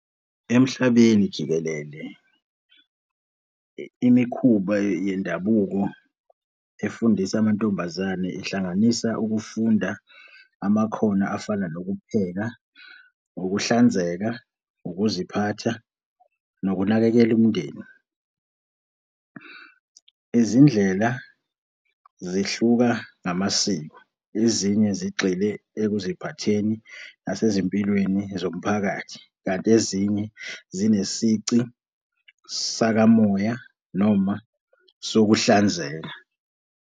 Emhlabeni jikelele, imikhuba yendabuko efundisa amantombazane ihlanganisa ukufunda amakhono afana nokupheka, ukuhlanzeka, ukuziphatha, nokunakekela umndeni. Izindlela zihluka ngamasiko, ezinye zigxile ekuziphatheni nasezimpilweni zomphakathi, kanti ezinye zinesici sakamoya noma sokuhlanzeka.